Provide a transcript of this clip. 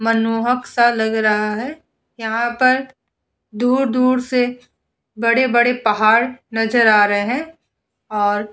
मनमोहक सा लग रहा है। यहाँ पे दूर-दूर से बड़े-बड़े पहाड़ नजर आ रहे हैं और --